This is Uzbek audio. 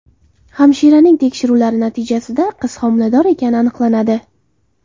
Hamshiraning tekshiruvlari natijasida qiz homilador ekani aniqlanadi.